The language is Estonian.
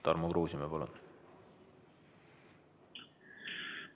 Tarmo Kruusimäe, palun!